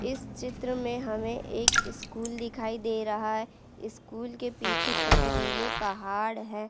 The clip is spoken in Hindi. इस चित्र में हमें एक इस्कूल दिखाई दे रहा है इस्कूल के पीछे पथरीले पहाड़ है।